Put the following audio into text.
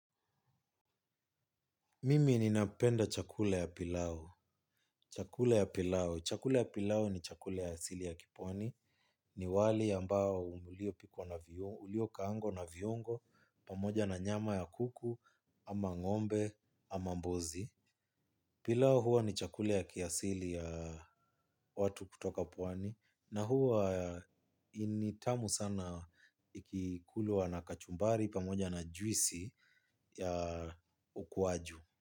Mimi ninapenda chakule ya pilau. Chakula ya pilau. Chakula ya pilau ni chakula ya asili ya kipwani. Ni wali ambao uliopikwa na uliokaangwa na viungo pamoja na nyama ya kuku ama ng'ombe ama mbuzi. Pilau huwa ni chakula ya kiasili ya watu kutoka pwani na huwa ni tamu sana ikikulwa na kachumbari pamoja na juisi ya ukwaju.